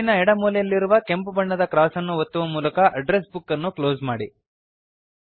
ಮೇಲಿನ ಎಡ ಮೂಲೆಯಲ್ಲಿರುವ ಕೆಂಪು ಬಣ್ಣದ ಕ್ರಾಸ್ ಅನ್ನು ಒತ್ತುವ ಮೂಲಕ ಅಡ್ಡ್ರೆಸ್ ಬುಕ್ ಅನ್ನು ಕ್ಲೋಸ್ ಮಾಡಿ